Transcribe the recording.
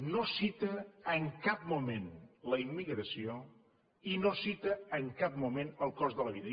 no cita en cap moment la immigració i no cita en cap moment el cost de la vida